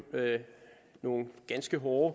nogle ganske hårde